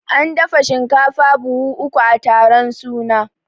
An dafa shinkafa buhu uku a taron suna